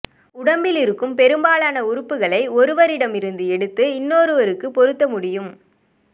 உடம்பில் இருக்கும் பெரும்பாலான உறுப்புகளை ஒருவரிடம் இருந்து எடுத்து இன்னொருவருக்குப் பொறுத்த முடியும்